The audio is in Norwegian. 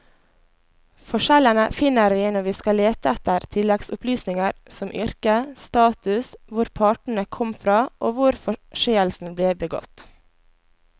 Forskjellene finner vi når vi skal lete etter tilleggsopplysninger som yrke, status, hvor partene kom fra og hvor forseelsen ble begått.